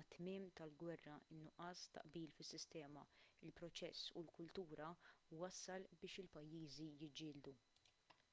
mat-tmiem tal-gwerra in-nuqqas ta' qbil fis-sistema il-proċess u l-kultura wassal biex il-pajjiżi jiġġieldu